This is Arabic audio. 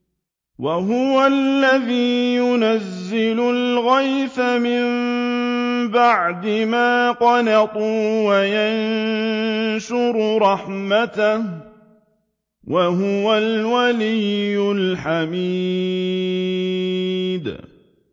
وَهُوَ الَّذِي يُنَزِّلُ الْغَيْثَ مِن بَعْدِ مَا قَنَطُوا وَيَنشُرُ رَحْمَتَهُ ۚ وَهُوَ الْوَلِيُّ الْحَمِيدُ